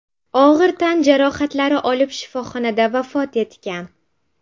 og‘ir tan jarohatlari olib shifoxonada vafot etgan.